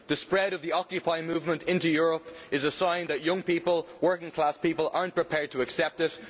The spread of the occupying movement into Europe is a sign that young people working class people are not prepared to accept it.